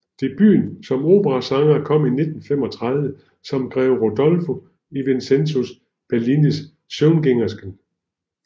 Debuten som operasanger kom 1935 som Greve Rodolfo i Vincenzo Bellinis Søvngængersken